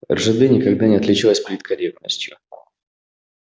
ржд никогда не отличалась политкорректностью